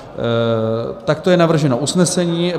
Takto je navrženo usnesení.